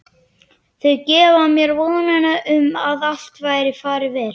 Þau gefa mér vonina um að allt fari vel.